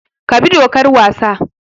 Ka bi dokar wasa!